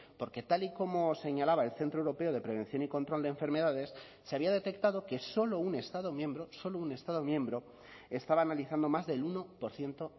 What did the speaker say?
porque tal y como señalaba el centro europeo de prevención y control de enfermedades se había detectado que solo un estado miembro solo un estado miembro estaba analizando más del uno por ciento